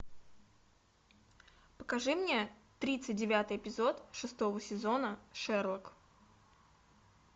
покажи мне тридцать девятый эпизод шестого сезона шерлок